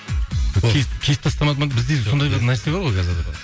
ол кесіп кесіп тастамады ма бізде сондай бір нәрсе бар ғой қазір